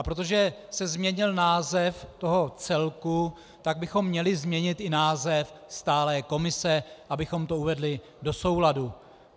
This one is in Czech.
A protože se změnil název toho celku, tak bychom měli změnit i název stálé komise, abychom to uvedli do souladu.